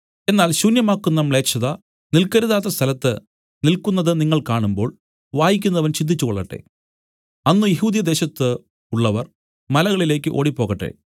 എന്നാൽ ശൂന്യമാക്കുന്ന മ്ലേച്ഛത നില്ക്കരുതാത്ത സ്ഥലത്ത് നില്ക്കുന്നതു നിങ്ങൾ കാണുമ്പോൾ വായിക്കുന്നവൻ ചിന്തിച്ചുകൊള്ളട്ടെ അന്ന് യെഹൂദ്യദേശത്ത് ഉള്ളവർ മലകളിലേക്ക് ഓടിപ്പോകട്ടെ